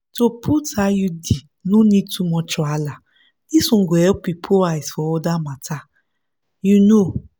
to put iud no need too much wahala this one go help you put eyes for other matter. you know.